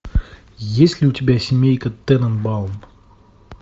есть ли у тебя семейка тененбаум